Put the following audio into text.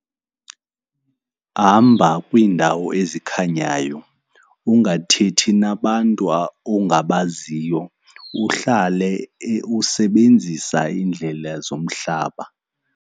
Hamba kwiindawo ezikhanyayo, ungathethi nabantu ongabaziyo, uhlale usebenzisa iindlela zomhlaba.